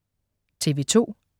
TV2: